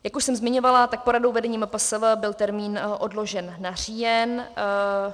Jak už jsem zmiňovala, tak poradou vedení MPSV byl termín odložen na říjen.